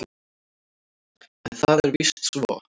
En það er víst svo.